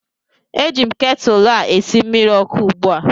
Eji m ketụlụ a esi mmiri ọkụ ugbu a